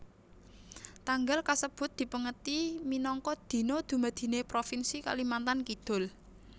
Tanggal kasebut dipèngeti minangka Dina Dumadiné Propinsi Kalimantan Kidul